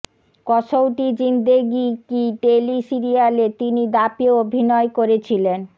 Kasautii Zindagii Kay tele সিরিয়ালে তিনি দাঁপিয়ে অভিনয় করেছিলেন